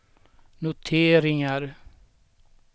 noteringar